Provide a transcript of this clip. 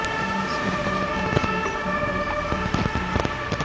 نسل ہر ہر ایک کا ایک اہم حصہ ہے